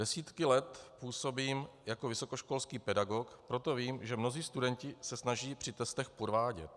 Desítky let působím jako vysokoškolský pedagog, proto vím, že mnozí studenti se snaží při testech podvádět.